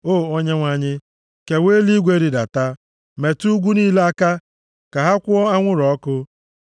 O Onyenwe anyị, kewaa eluigwe rịdata; metụ ugwu niile aka ka ha kwụọ anwụrụ ọkụ.